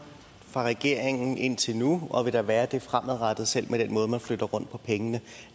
fra regeringens side indtil nu og vil der være det fremadrettet selv med den måde man flytter rundt på pengene